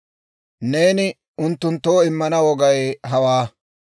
«Neeni unttunttoo immana wogay hawaa.